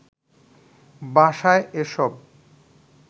বাসায় এসব